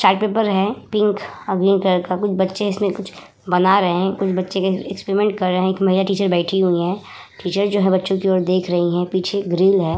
Chart paper है pink और green colour का कुछ बच्चे इस में कुछ बना रहे कुछ बच्चे एक्सपेरिमेंट कर रहे एक महिला टीचर बैठी हुई हैं। टीचर जो है बच्चे की और देख रही हैं पीछे एक ग्रिल है।